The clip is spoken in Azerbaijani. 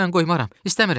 Mən qoymaram, istəmirəm!